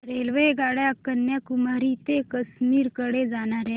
रेल्वेगाड्या कन्याकुमारी ते काश्मीर कडे जाणाऱ्या